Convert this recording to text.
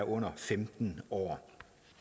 under femten år